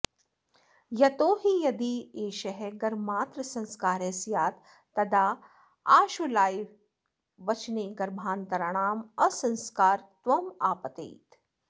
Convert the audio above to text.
यतोहि यद्येष गर्भमात्रसंस्कारः स्यात् तदा आश्वलायनवचने गर्भान्तराणाम् असंस्कारत्वमापतेत्